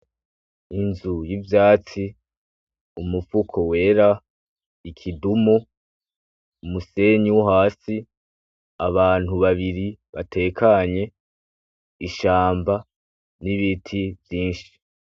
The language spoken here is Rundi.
Inzu y'ivyatsi, umufuko wera, ikidumu, umusenyi wo hasi, abantu babiri batekanye, ishamba, n'ibiti vyinshi.